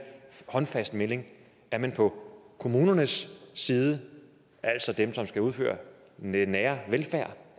håndfast melding er man på kommunernes side altså dem som skal udføre den nære velfærd